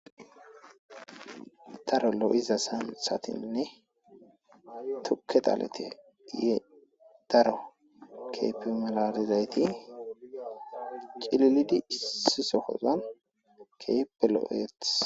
Daro lo'za santhatine tuke dhalet daro keehippe malalizayt cililid issi sohozan keehippe lo'etes.